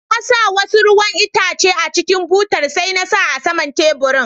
Na sa wasu ruwan yayan Itace a cikin butar, sai na sa a sama'n taburin.